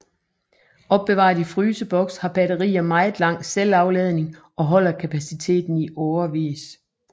Opbevaret i fryseboks har batterier meget lang selvafladning og holder kapaciteten i årevis